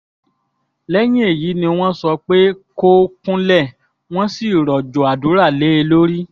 lẹ́yìn èyí ni wọ́n sọ pé kó kúnlẹ̀ wọ́n sì rọ̀jò àdúrà lé e lórí